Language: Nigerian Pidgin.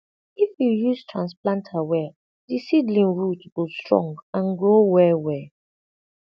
if you use transplanter well the seedling root go strong and grow well well